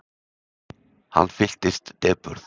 Hann fylltist depurð.